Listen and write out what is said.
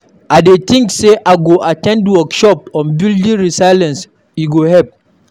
I dey think say I go at ten d workshops on building resilience; e go help.